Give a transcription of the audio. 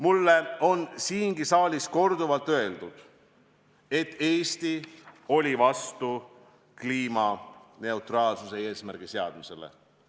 Mulle on siingi saalis korduvalt öeldud, et Eesti oli vastu kliimaneutraalsuse eesmärgi seadmisele.